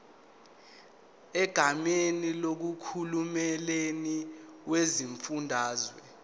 egameni likahulumeni wesifundazwe